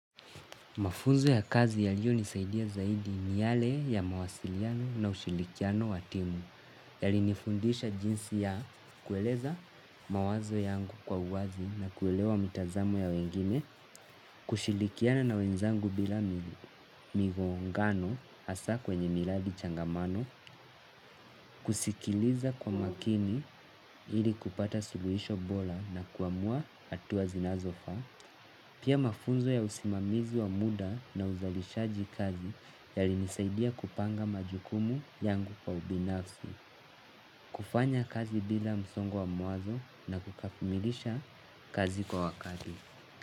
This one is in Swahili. Mafunzo ya kazi yaliiyonisaidia zaidi ni yale ya mawasiliano na ushirikiano wa timu. Yalinifundisha jinsi ya kueleza mawazo yangu kwa uwazi na kuelewa mitazamo ya wengine. Kushirikiana na wenzangu bila migongano hasa kwenye miradi changamano. Kusikiliza kwa makini ili kupata suluhisho bora na kuamua hatua zinazofaa. Pia mafunzo ya usimamizi wa muda na uzalishaji kazi yalinisaidia kupanga majukumu yangu kwa ubinafsi. Kufanya kazi bila msongo wa mawazo na kukamilisha kazi kwa wakati.